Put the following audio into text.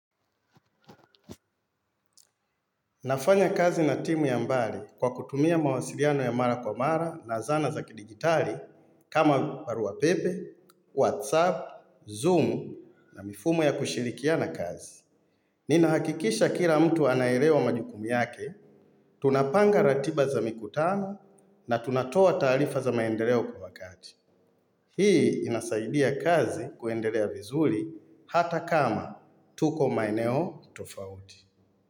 Nafanya kazi na timu ya mbali kwa kutumia mawasiliano ya mara kwa mara na zana za kidigitali kama baruapepe, whatsapp, zoom na mifumo ya kushirikia na kazi. Ninahakikisha kila mtu anaelewa majukumu yake, tunapanga ratiba za mikutano na tunatoa taalifa za maendeleo kwa wakati. Hii inasaidia kazi kuendelea vizuli hata kama tuko maeneo tofauti.